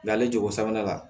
La ale jogo sabanan la